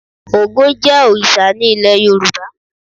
Ògún jẹ́ òrìṣà ní ilé Yorùbá.